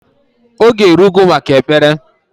Oge erugo maka Ekpere